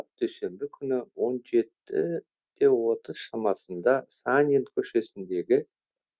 дүйсенбі күні он жеті де отыз шамасында санин көшесіндегі